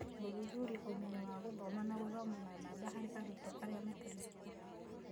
Gũthuthuria ũmenyo wa gũthoma na gũthoma na namba harĩ arutwo arĩa matarĩ cukuru.